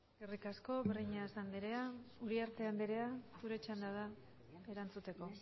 eskerrik asko breñas andrea uriarte andrea zure txanda da erantzuteko